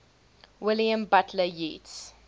william butler yeats